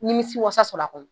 Nimisiwasa sɔrɔ a kɔnɔ